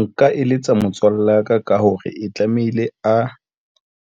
Nka eletsa motswalle wa ka, ka hore e tlamehile a